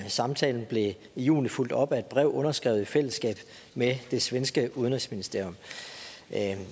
samtalen blev i juni fulgt op af et brev underskrevet i fællesskab med det svenske udenrigsministerium